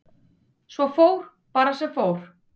Svo fór bara sem fór.